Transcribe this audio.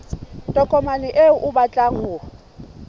tokomane eo o batlang ho